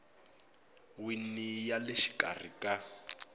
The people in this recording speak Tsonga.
wini ya le xikarhi ka